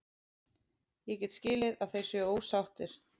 Ég get skilið að þeir séu ósáttir.